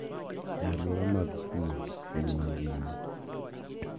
E alwora mag pur e piny mangima.